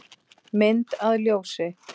Mynd að ljósi?